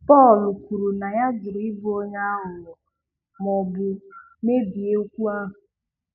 Pọ̀l kwùrù na ya jụrụ ịbụ onye àghùghọ́ ma ọ bụ mebìe Okwù ahụ.